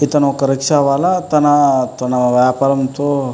ఇతను ఒక రిక్షా వాల తనా తన వ్యాపారం తో --